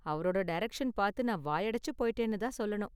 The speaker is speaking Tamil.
அவரோட டைரக்ஷன் பார்த்து நான் வாயடைச்சு போயிட்டேன்னு தான் சொல்லணும்.